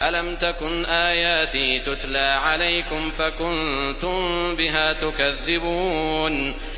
أَلَمْ تَكُنْ آيَاتِي تُتْلَىٰ عَلَيْكُمْ فَكُنتُم بِهَا تُكَذِّبُونَ